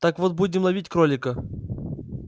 так вот будем ловить кролика